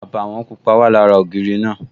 Àbàwọ̀n pupa wà lára ògiri náà